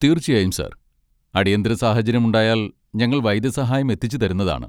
തീർച്ചയായും, സർ. അടിയന്തിര സാഹചര്യമുണ്ടായാൽ ഞങ്ങൾ വൈദ്യസഹായം എത്തിച്ചുതരുന്നതാണ്.